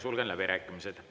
Sulgen läbirääkimised.